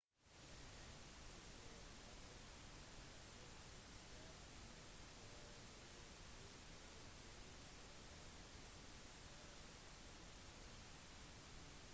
en triceratops kunne bruke sitt sterke nebb for å strippe av bladene før den spiste selve stammen